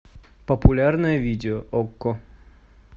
популярное видео окко